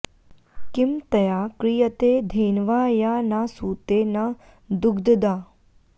किं तया क्रियते धेन्वा या न सूते न दुग्धदा